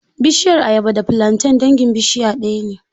Bishiyar ayaba da filanten dangin bishiya ɗaya ne.